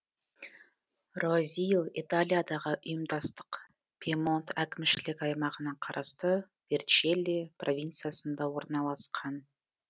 роазио италиядағы ұйымдастық пьемонт әкімшілік аймағына қарасты верчелли провинциясында орналасқан